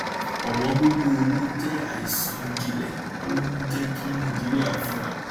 òwóngógó owó jẹ àìsàn jinlẹ tó ń jẹ kí nàìjíríà fínra